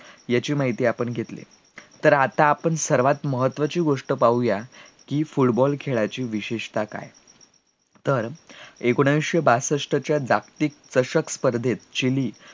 याची माहिती आपण घेतली तर आता आपण सर्वात महत्वाची गोस्ट पाहूया कि football खेळाची विशेषतः काय तर एकोणीसशे बासष्ट च्या जागतिक चषक स्पर्धेत जे